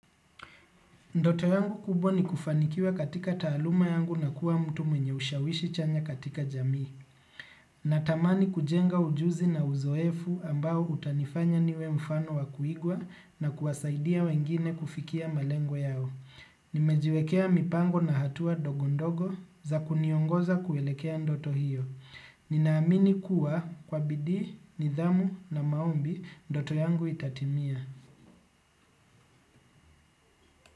Ndoto yangu kubwa ni kufanikiwa katika taaluma yangu na kuwa mtu mwenye ushawishi chanya katika jamii. Natamani kujenga ujuzi na uzoefu ambao utanifanya niwe mfano wa kuigwa na kuwasaidia wengine kufikia malengo yao. Nimejiwekea mipango na hatua ndogo ndogo za kuniongoza kuelekea ndoto hio. Ninaamini kuwa kwa bidii, nidhamu na maombi, ndoto yangu itatimia.